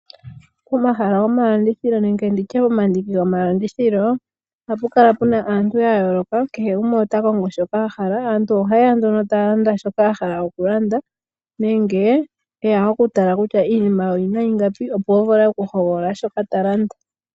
Omahala gomalandithilo nenge nditye omandiki gomalandithilo ohapu kala puna aantu ya yooloka kehe gumwe ota kongo shoka ahala, aantu ohaya yeya taya landa shoka a hala oku landa nenge eya oku tala kutya iinima oyina ingapi opo avule oku hogolola shoka ta landa.